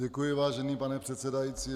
Děkuji, vážený pane předsedající.